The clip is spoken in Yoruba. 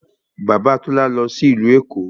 Bàbá Tọ́lá lọ sí ìlú Èkó